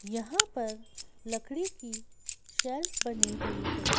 यहाँ पर लकड़ी की शेल्फ बनी हुई है।